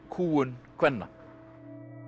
kúgun kvenna